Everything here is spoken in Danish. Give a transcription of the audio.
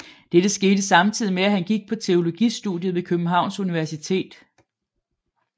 Dette skete samtidig med at han gik på teologistudiet ved Københavns Universitet